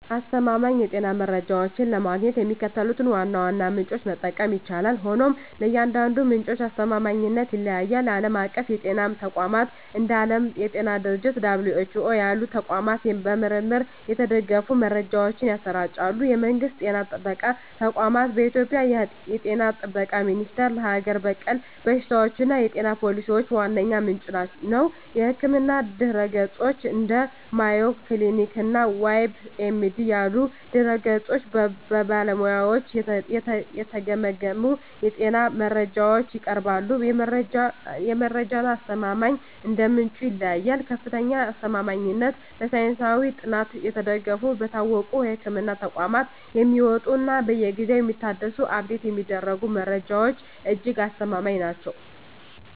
አስተማማኝ የጤና መረጃዎችን ለማግኘት የሚከተሉትን ዋና ዋና ምንጮች መጠቀም ይቻላል፤ ሆኖም የእያንዳንዱ ምንጭ አስተማማኝነት ይለያያል። ዓለም አቀፍ የጤና ተቋማት፦ እንደ ዓለም የጤና ድርጅት (WHO) ያሉ ተቋማት በምርምር የተደገፉ መረጃዎችን ያሰራጫሉ። የመንግስት ጤና ጥበቃ ተቋማት፦ በኢትዮጵያ የ ጤና ጥበቃ ሚኒስቴር ለሀገር በቀል በሽታዎችና የጤና ፖሊሲዎች ዋነኛ ምንጭ ነው። የሕክምና ድረ-ገጾች፦ እንደ Mayo Clinic እና WebMD ያሉ ድረ-ገጾች በባለሙያዎች የተገመገሙ የጤና መረጃዎችን ያቀርባሉ። የመረጃዎቹ አስተማማኝነት እንደ ምንጩ ይለያያል፦ ከፍተኛ አስተማማኝነት፦ በሳይንሳዊ ጥናት የተደገፉ፣ በታወቁ የሕክምና ተቋማት የሚወጡ እና በየጊዜው የሚታደሱ (Update የሚደረጉ) መረጃዎች እጅግ አስተማማኝ ናቸው።